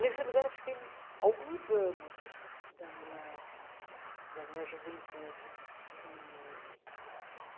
Nesse lugar, fiquei alguns anos da minha da minha juventude e.